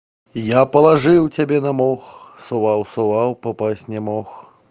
я положил тебя на мох совал совал попасть не мог